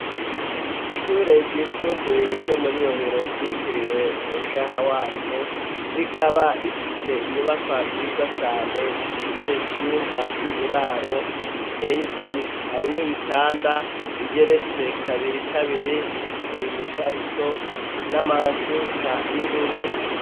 Ishure ryisumbuye ryo muri rohero ryitiriwe Umushaha Wacu, rikaba rifise inyubaka nziza cane zifise ivyumba vy'uburaro biteye igomwe. Harimwo ibitanda bigeretse kabiri kabiri bifise imifariso n'amashuka y'ubururu.